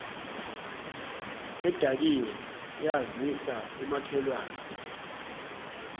edakiwe yazisa umakhelwane